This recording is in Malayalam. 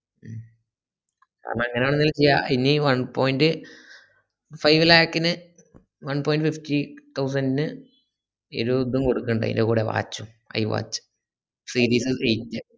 ഉം അത് അങ്ങനെവേലു ചെയ്യ ഇഞ്ഞി one point five lakh ന് one point fifty thousand ന് കൊടുക്കുന്നുണ്ട് അയിന്റെ കൂടെ watch ഉം iwatch